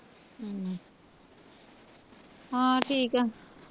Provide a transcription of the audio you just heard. ਹਾਂ ਠੀਕ ਆ